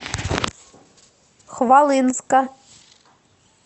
хвалынска